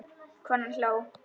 Konan hló.